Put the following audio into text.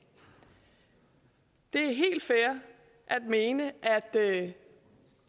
er helt fair at mene at